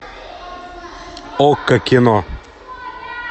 окко кино